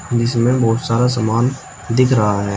जिसमें बहुत सारा समान दिख रहा है।